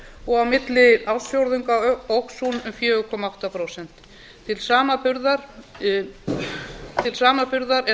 og á milli ársfjórðunga óx hún um fjóra komma átta prósent til samanburðar er